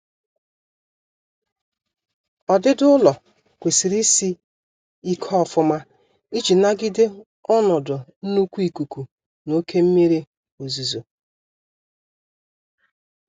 Ọdịdị ụlọ kwesịrị isị ike ofuma iji nagide ọnọdụ nnkwu ikuku na oke mmiri ozuzo